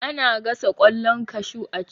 Ana gasa ƙwallon kashu a ci